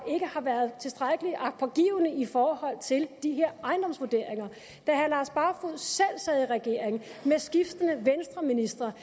været tilstrækkelig agtpågivende i forhold til de her ejendomsvurderinger da herre lars barfoed selv sad i regering med skiftende venstreministre